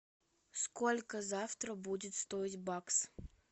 сколько завтра будет стоить бакс